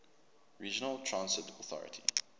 regional transit authority